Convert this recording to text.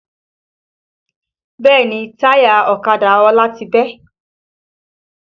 Bẹ́ẹ̀ni táyà ọ̀kadà Ọlá ti bẹ́